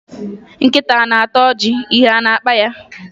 Nkịta ọ na-ata ọjị ihe ọ na-akpa ya?